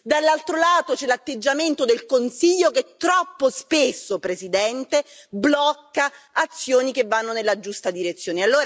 Dall'altro lato, c'è l'atteggiamento del Consiglio che troppo spesso, Presidente, blocca azioni che vanno nella giusta direzione.